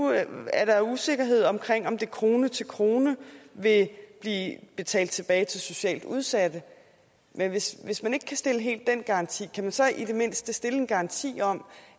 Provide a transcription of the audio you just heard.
er der usikkerhed om om det krone til krone vil blive betalt tilbage til socialt udsatte men hvis hvis man ikke helt kan stille garanti kan man så i det mindste stille en garanti om